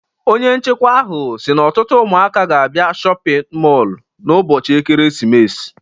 Onye nchikwa ahụ si n'ọtụtụ ụmụaka ga-abịa shọpịn mọlụ n'ụbọchị ekeresimesi.